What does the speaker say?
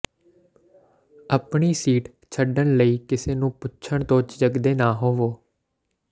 ਆਪਣੀ ਸੀਟ ਛੱਡਣ ਲਈ ਕਿਸੇ ਨੂੰ ਪੁੱਛਣ ਤੋਂ ਝਿਜਕਦੇ ਨਾ ਹੋਵੋ